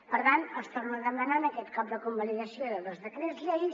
per tant els torno a demanar en aquest cop la convalidació de dos decrets llei